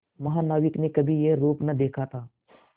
महानाविक ने कभी यह रूप न देखा था